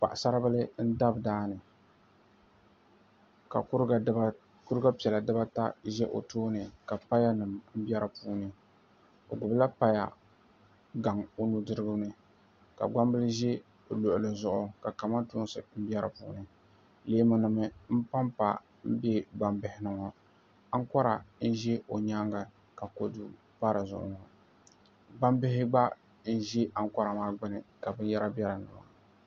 Paɣasaribili n dabi daani ka kuruga piɛla dibaata ʒɛ o tooni ka payanima be dipuuni o gbibila paya gaŋa o nudirigu ni ka gbambili ʒɛ o luɣuli zuɣu ka kamantoosi be dipuuni leemunima mpampa m be gbambihini ŋɔ aŋkora n ʒi o nyaanga ka kodu pa dizuɣu ŋɔ gbambihi gba n ʒi aŋkora maa gbini ka binyahari be dinni maa.